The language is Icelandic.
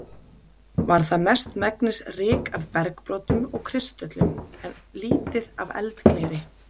Var það mestmegnis ryk af bergbrotum og kristöllum, en lítið af eldgleri.